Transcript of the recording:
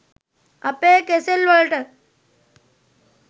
අපේ කෙසෙල් වලට